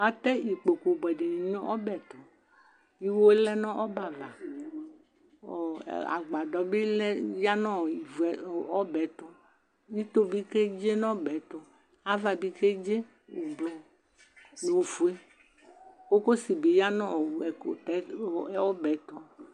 Atɛ ikpoku buɛ dini nʋ ɔbɛtuiwe lɛ nʋ ɔbɛ'avaɔɔ agbadɔ bi lɛ nɔɔɔ, ya nʋ ɔbɛɛ'tuito bi keze nʋ ɔbɛɛ'tuava bi keze ublu nʋ ofuekokosi bi ya nʋ ɔɔ ɛkutɔbɛɛ tu